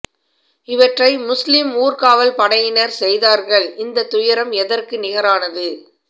இவற்றை முஸ்லிம் ஊர் காவல் படையினர் செய்தார்கள் இந்த துயரம் எதற்கு நிகரானது